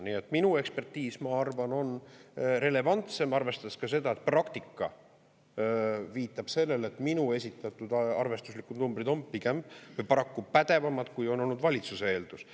Nii et minu ekspertiis, ma arvan, on relevantsem, arvestades ka seda, et praktika viitab sellele, et minu esitatud arvestuslikud numbrid on pigem paraku pädevamad, kui on olnud valitsuse eeldus.